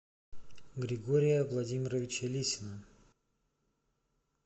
григория владимировича лисина